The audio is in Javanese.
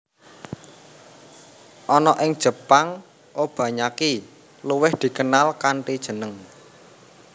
Ana ing Jepang Obanyaki luwih dikenal kanthi jeneng